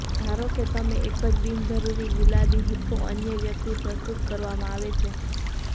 ધારો કે તમે એક જ બિનજરૂરી ગુલાબી હિપ્પો અન્ય વ્યક્તિ પ્રસ્તુત કરવામાં આવે છે